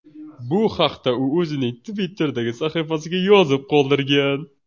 Bu haqda u o‘zining Twitter’dagi sahifasiga yozib qoldirgan .